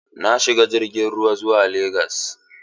Na shiga jirgin ruwa zuwa legas.